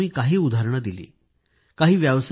इथं मी काही उदाहरणे दिली आहेत